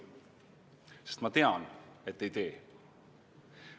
Sest ma tean, et ei tee.